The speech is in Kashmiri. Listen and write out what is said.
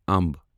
امب